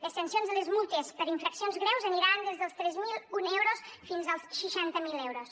les sancions i les multes per infraccions greus aniran des dels tres mil un euros fins als seixanta mil euros